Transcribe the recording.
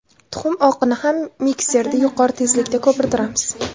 Tuxum oqini ham mikserda yuqori tezlikda ko‘pirtiramiz.